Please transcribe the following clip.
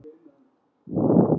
Nunna tók mér strax vel.